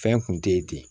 Fɛn kun te ye ten